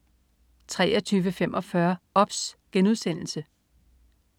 23.45 OBS*